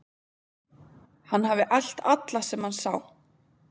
Hann hafi elt alla sem hann sá.